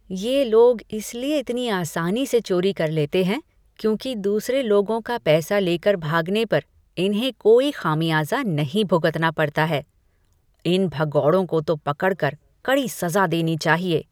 ये लोग इसलिए इतनी आसानी से चोरी कर लेते हैं, क्योंकि दूसरे लोगों का पैसा लेकर भागने पर इन्हें कोई खामियाजा नहीं भुगतना पड़ता है। इन भगौड़ों को तो पकड़कर कड़ी सजा देनी चाहिए।